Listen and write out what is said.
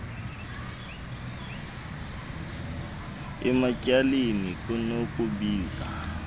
ematy aleni kunokubiza